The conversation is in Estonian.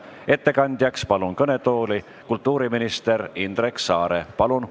Ettekandeks palun kõnetooli kultuuriminister Indrek Saare!